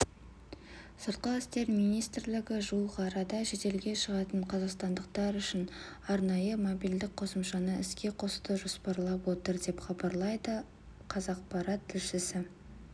сыртқы істер министрлігі жуық арада шетелге шығатын қазақстандықтар үшін арнайы мобильдік қосымшаны іске қосуды жоспарлап отыр деп хабарлайды қазақпарат тілшісі